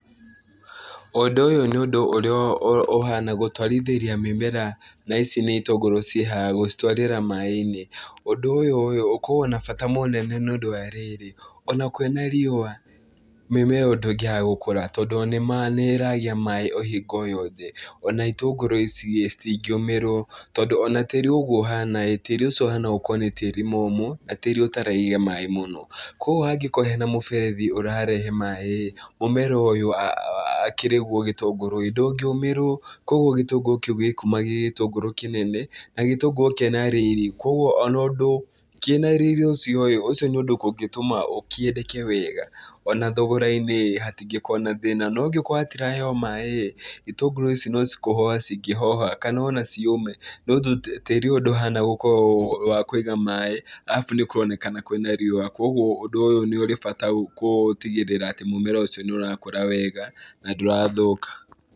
Ũndũ ũyũ nĩ ũndũ ũrĩa ũhana gũtwarithĩria mĩmera na ici nĩ itũngũrũ ciĩ haha gũcitwarĩra maĩ-inĩ. Ũndũ ũyũ ũyũ ũkoragwo na bata mũnene nĩũndũ wa rĩrĩ, ona kwĩna riũa mĩmea ĩyo ndĩngĩaga gũkũra tondũ nĩĩragĩa maĩ o hingo o yothe. Ona itũngũrũ ici-ĩ, citingĩũmĩrwo tondũ ona tĩri ũguo ũhana-ĩ, tĩri ũcio ũhana gũkorwo nĩ tĩri mũmũ na tĩri ũtaraiga maĩ mũno, kuoguo hangĩkorwo hena mũberethi ũrarehe maĩ-ĩ, mũmera ũyũ akĩrĩguo gĩtũngũrũ-ĩ ndũngĩũmĩrwo, kuoguo gĩtũngũrũ kĩu gĩkuma gĩ gĩtũngũrũ kĩnene na gĩtũngũrũ kĩna riri, kuoguo ona ũndũ kĩna riri ũcio-ĩ, ũcio nĩ ũndũ kũngĩtũma kĩendeke wega ona thogora-inĩ ĩ hatingĩkorwo na thĩna, no angĩkorwo gĩtiraheo maĩ-ĩ, itũngũrũ ici no ci kũhoha cingĩhoha kana ona ciũme, no tĩri ũyũ ndũhana gũkorwo wa kũiga maĩ, arabu nĩkũronekana kwĩna riũa kuoguo ũndũ ũyũ nĩũrĩ bata gũtigĩrĩra atĩ mũmera ũcio nĩũrakũra wega na ndũrathũka.